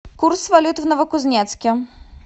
курс валют в новокузнецке